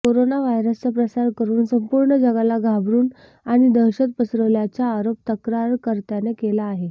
corona व्हायरसचा प्रसार करुन संपूर्ण जगाला घाबरुन आणि दहशत पसरवल्याचा आरोप तक्रारकर्त्याने केला आहे